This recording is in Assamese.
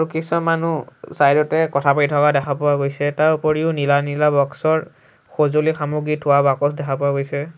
মানুহ চাইড তে কথা পাতি থকা দেখা পোৱা গৈছে তাৰ ওপৰিও নীলা নীলা বক্সৰ সঁজুলি সামগ্ৰী থোৱা বাকচ দেখা পোৱা গৈছে।